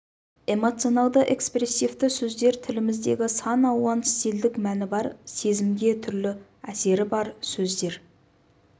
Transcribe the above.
эмоционалды-экспрессивті сөздер тіліміздегі сан алуан стильдік мәні бар сезімге түрлі әсері бар сөздер